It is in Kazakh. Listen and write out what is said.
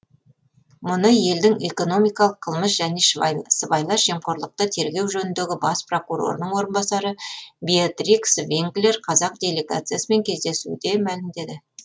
мұны елдің экономикалық қылмыс және сыбайлас жемқорлықты тергеу жөніндегі бас прокурорының орынбасары беатрикс винклер қазақ делегациясымен кездесуде мәлімдеді